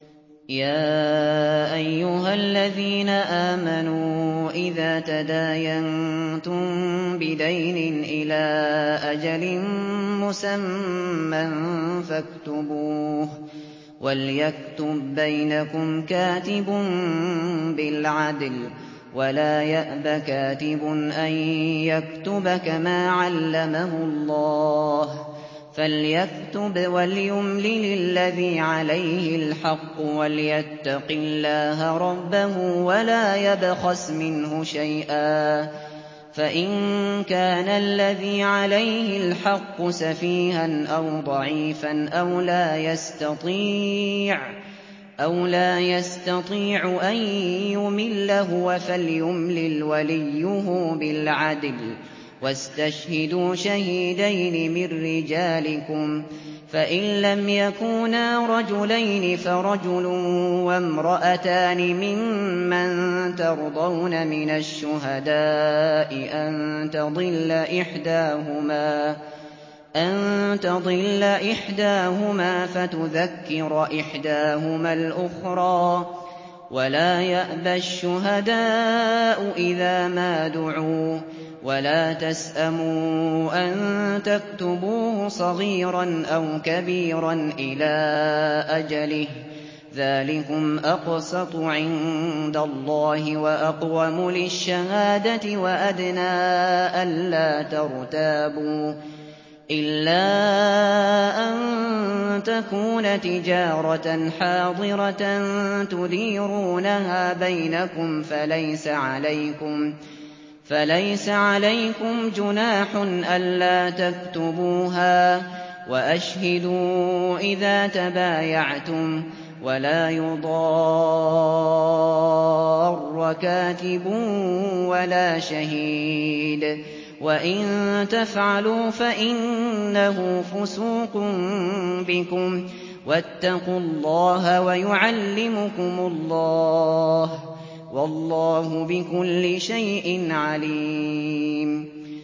يَا أَيُّهَا الَّذِينَ آمَنُوا إِذَا تَدَايَنتُم بِدَيْنٍ إِلَىٰ أَجَلٍ مُّسَمًّى فَاكْتُبُوهُ ۚ وَلْيَكْتُب بَّيْنَكُمْ كَاتِبٌ بِالْعَدْلِ ۚ وَلَا يَأْبَ كَاتِبٌ أَن يَكْتُبَ كَمَا عَلَّمَهُ اللَّهُ ۚ فَلْيَكْتُبْ وَلْيُمْلِلِ الَّذِي عَلَيْهِ الْحَقُّ وَلْيَتَّقِ اللَّهَ رَبَّهُ وَلَا يَبْخَسْ مِنْهُ شَيْئًا ۚ فَإِن كَانَ الَّذِي عَلَيْهِ الْحَقُّ سَفِيهًا أَوْ ضَعِيفًا أَوْ لَا يَسْتَطِيعُ أَن يُمِلَّ هُوَ فَلْيُمْلِلْ وَلِيُّهُ بِالْعَدْلِ ۚ وَاسْتَشْهِدُوا شَهِيدَيْنِ مِن رِّجَالِكُمْ ۖ فَإِن لَّمْ يَكُونَا رَجُلَيْنِ فَرَجُلٌ وَامْرَأَتَانِ مِمَّن تَرْضَوْنَ مِنَ الشُّهَدَاءِ أَن تَضِلَّ إِحْدَاهُمَا فَتُذَكِّرَ إِحْدَاهُمَا الْأُخْرَىٰ ۚ وَلَا يَأْبَ الشُّهَدَاءُ إِذَا مَا دُعُوا ۚ وَلَا تَسْأَمُوا أَن تَكْتُبُوهُ صَغِيرًا أَوْ كَبِيرًا إِلَىٰ أَجَلِهِ ۚ ذَٰلِكُمْ أَقْسَطُ عِندَ اللَّهِ وَأَقْوَمُ لِلشَّهَادَةِ وَأَدْنَىٰ أَلَّا تَرْتَابُوا ۖ إِلَّا أَن تَكُونَ تِجَارَةً حَاضِرَةً تُدِيرُونَهَا بَيْنَكُمْ فَلَيْسَ عَلَيْكُمْ جُنَاحٌ أَلَّا تَكْتُبُوهَا ۗ وَأَشْهِدُوا إِذَا تَبَايَعْتُمْ ۚ وَلَا يُضَارَّ كَاتِبٌ وَلَا شَهِيدٌ ۚ وَإِن تَفْعَلُوا فَإِنَّهُ فُسُوقٌ بِكُمْ ۗ وَاتَّقُوا اللَّهَ ۖ وَيُعَلِّمُكُمُ اللَّهُ ۗ وَاللَّهُ بِكُلِّ شَيْءٍ عَلِيمٌ